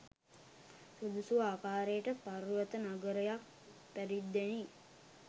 සුදුසු ආකාරයට පර්වත නගරයක් පරිද්දෙනි.